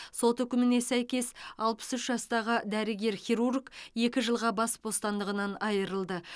сот үкіміне сәйкес алпыс үш жастағы дәрігер хирург екі жылға бас бостандығынан айырылды